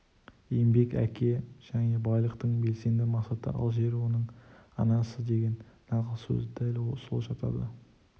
еңбек әке және байлықтың белсенді мақсаты ал жер оның анасыдеген нақал сөз дәл сол жатады